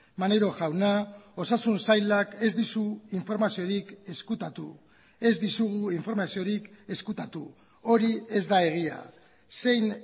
maneiro jauna osasun sailak ez dizu informaziorik ezkutatu ez dizugu informaziorik ezkutatu hori ez da egia zein